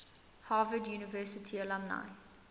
harvard university alumni